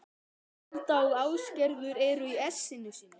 Alda og Ásgerður eru í essinu sínu.